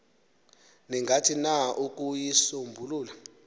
ningathini na ukuyisombulula